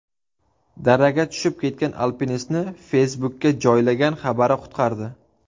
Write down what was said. Daraga tushib ketgan alpinistni Facebook’ga joylagan xabari qutqardi.